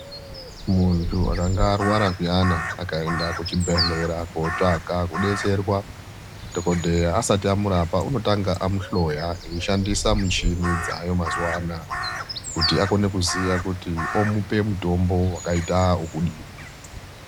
Muntu akanga arwara zviyani akaenda kuchibhedhleya kotsvaka kudetserwa, dhokodheya asati amurapa unotanga amuhloya eishandisa michini dzaayo mazuwa anaya kuti akone kuziya kuti tomupa mutombo wakadini.